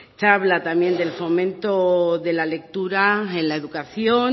se habla también del fomento de la lectura en la educación